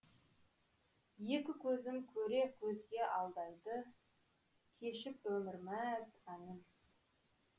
екі көзім көре көзге алдайды кешіп өмір мәз әнін